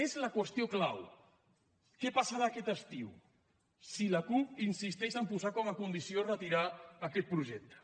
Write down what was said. és la qüestió clau què passarà aquest estiu si la cup insisteix a posar com a condició retirar aquest projecte